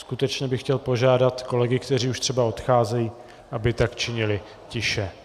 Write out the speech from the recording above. Skutečně bych chtěl požádat kolegy, kteří už třeba odcházejí, aby tak činili tiše.